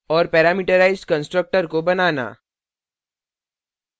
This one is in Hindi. और parameterized constructor को बनाना